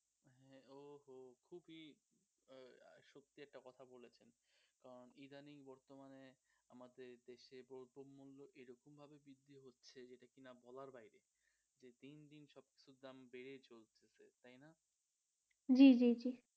জি জি জি